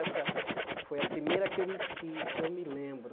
Essa foi a primeira que eu que que eu me lembro.